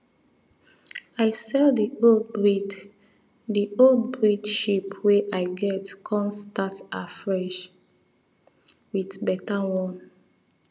i sell the old breed the old breed sheep wey i get come start afresh with better one